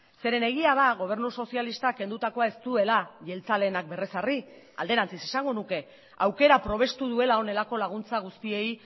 zeren egia da gobernu sozialistak kendutakoa ez duela jeltzaleenak berrezarri alderantziz esango nuke aukera probestu duela honelako laguntza guztiei